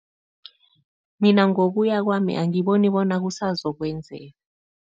Mina ngokuya kwami, angiboni bona kusazokwenzeka.